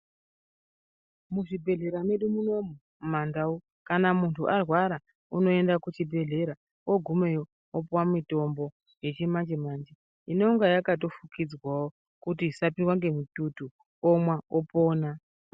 Muzvibhedhlera medu munomu muma ndau kana muntu arwara unoenda kuchibhedhlera ogumeyo opuwe mitombo yechimanje manje inonga yakafukidzwawo kuti isapindwa nemututu omwa opona.